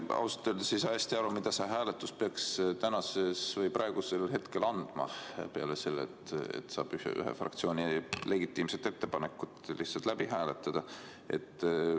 Ma ausalt öeldes ei saa päris hästi aru, mida see hääletus peaks praegusel hetkel andma peale selle, et saab ühe fraktsiooni legitiimse ettepaneku lihtsalt läbi hääletada.